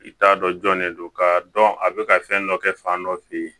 I t'a dɔn jɔnnen don k'a dɔn a bɛ ka fɛn dɔ kɛ fan dɔ fɛ yen